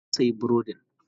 A ina ka sayi burodin?